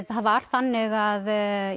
það var þannig að